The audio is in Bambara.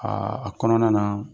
a kɔnɔna na.